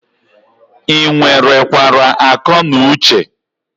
Ị nwere kwara ako nu Uche?